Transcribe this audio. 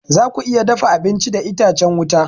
Zaku iya dafa abinci da itacen wuta.